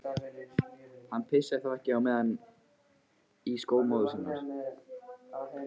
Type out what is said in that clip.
Hann pissaði þá ekki á meðan í skó móður hans.